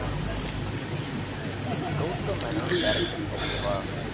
அய்யய்யோ கௌதம் மேனன் ஒரு director உ okay வா